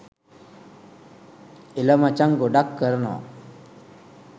එල මචං.ගොඩක් කරනව